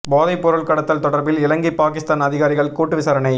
போதைப் பொருள் கடத்தல் தொடர்பில் இலங்கை பாகிஸ்தான் அதிகாரிகள் கூட்டு விசாரணை